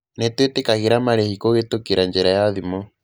Nĩ twĩtĩkagĩra marĩhi kũhĩtũkĩra njĩra ya thimũ.